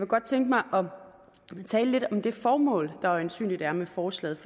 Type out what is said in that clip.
godt tænke mig at tale lidt om det formål der øjensynlig er med forslaget